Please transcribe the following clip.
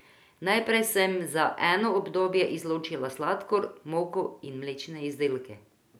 Najprej sem za eno obdobje izločila sladkor, moko in mlečne izdelke.